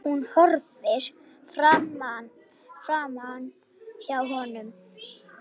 Hún horfir framhjá honum.